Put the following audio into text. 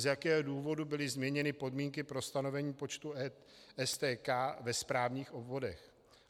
Z jakého důvodu byly změněny podmínky pro stanovení počtu STK ve správních obvodech?